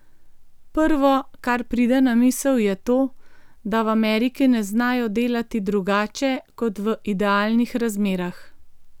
Prvo, kar pride na misel, je to, da v Ameriki ne znajo delati drugače kot v idealnih razmerah.